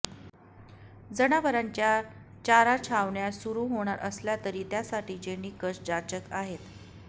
जनावरांच्या चारा छावण्या सुरू होणार असल्या तरी त्यासाठीचे निकष जाचक आहेत